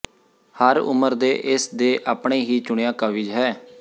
ਹਰ ਉਮਰ ਦੇ ਇਸ ਦੇ ਆਪਣੇ ਹੀ ਚੁਣਿਆ ਕਵਿਜ਼ ਹੈ